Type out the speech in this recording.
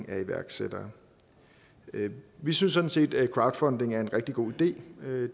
af iværksættere vi synes sådan set at crowdfunding er en rigtig god idé